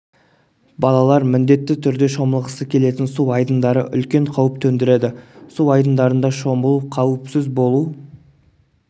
балалар міндетті түрде шомылғысы келетін су айдындары үлкен қауіп төндіреді су айдындарында шомылу қауіпсіз болу